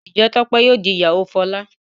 njé Tope yíò dì ìyàwó Fola?